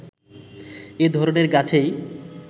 এ ধরনের গাছেই